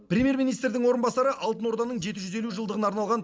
премьер министрдің орынбасары алтын орданың жеті жүз елу жылдығына арналған